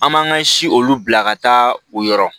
An m'an ka si olu bila ka taa o yɔrɔ